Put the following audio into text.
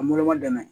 An bolo ma dɛmɛ